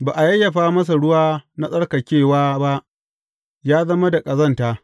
Ba a yayyafa masa ruwa na tsarkakewa ba, ya zama da ƙazanta.